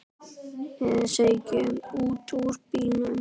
Við stigum út úr bílnum.